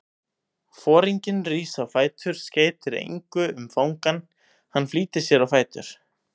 Foringinn rís á fætur, skeytir engu um fangann, hann flýtir sér á fætur.